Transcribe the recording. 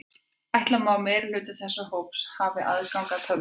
Ætla má að meirihluti þessa hóps hafi aðgang að tölvupósti.